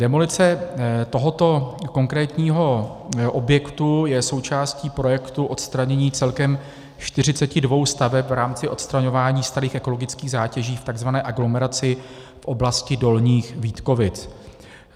Demolice tohoto konkrétního objektu je součástí projektu odstranění celkem 42 staveb v rámci odstraňování starých ekologických zátěží v tzv. aglomeraci v oblasti Dolních Vítkovic.